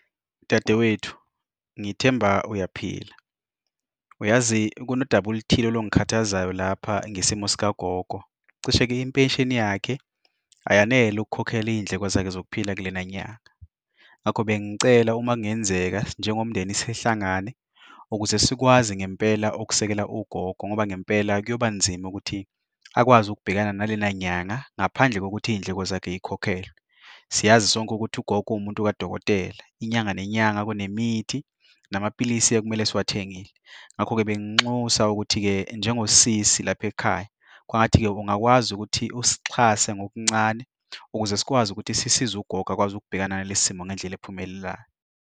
Dadewethu, ngithemba uyaphila, uyazi kunodaba oluthile olungikhathazayo lapha ngesimo zika gogo. Cishe-ke impesheni yakhe ayanele ukukhokhela izindleko zakhe zokuphila kulena nyanga. Ngakho bengicela uma kungenzeka njengomndeni sihlangane, ukuze sikwazi ngempela ukusekela ugogo ngoba ngempela kuyobanzima ukuthi akwazi ukubhekana nalena nyanga ngaphandle kokuthi izindleko zakhe zikhokhelwe. Siyazi sonke ukuthi ugogo uwumuntu kadokotela, inyanga nenyanga kune mithi, namaphilisi okumele ngiwathengile. Ngakho-ke banginxusa ukuthi-ke, njengo sisi lapha ekhaya, kwangathi-ke ungakwazi ukuthi usixhase ngokuncane ukuze sikwazi ukuthi sisize ugogo akwazi ukubhekana nalesi simo ngendlela ephumelelayo.